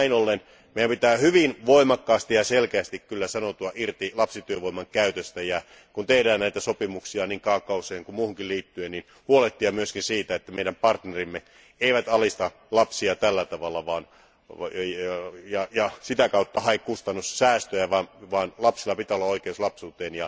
Näin ollen meidän pitää hyvin voimakkaasti ja selkeästi sanoutua irti lapsityövoiman käytöstä, ja kun tehdään näitä sopimuksia niin kaakaoon kuin muuhunkin liittyen, meidän pitää huolehtia myös siitä, että meidän partnerimme eivät alista lapsia tällä tavalla ja sitä kautta hae kustannussäästöjä, vaan lapsilla pitää olla oikeus lapsuuteen